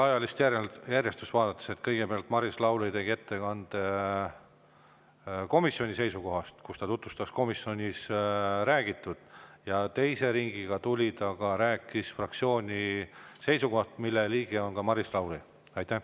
Ajalist järjestust vaadates: kõigepealt tegi Maris Lauri ettekande komisjoni seisukohtadest, tutvustas komisjonis räägitut ning teise ringiga tuli ja rääkis fraktsiooni seisukohtadest, mille liige ta ka ise on.